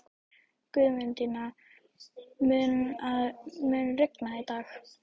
Guðmundína, mun rigna í dag?